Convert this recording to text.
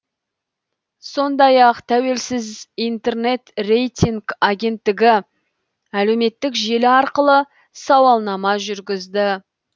сондай ақ тәуелсіз интернет рейтинг агенттігі әлеуметтік желі арқылы сауаланама жүргізді